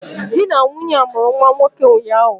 Di na nwunye a mụrụ nwa nwoke ụnyahụ